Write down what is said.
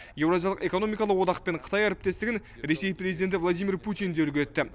еуразиялық экономикалық одақ пен қытай әріптестігін ресей президенті владимир путин де үлгі етті